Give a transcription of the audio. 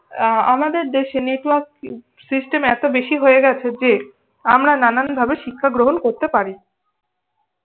আহ আমাদের দেশে network system এত বেশি হয়ে গেছে যে আমরা নানান ভাবে শিক্ষা গ্রহন করতে পারি।